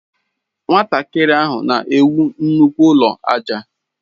Nwatakịrị ahụ na ewu nnukwu ụlọ aja.